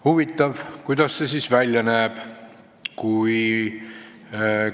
Huvitav, kuidas see siis välja näeb?